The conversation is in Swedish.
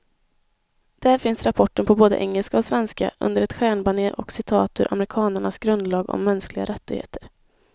Där finns rapporten på både engelska och svenska, under ett stjärnbanér och citat ur amerikanernas grundlag om mänskliga rättigheter.